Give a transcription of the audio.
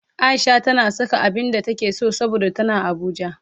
Aisha tana saka abinda take so saboda tana abuja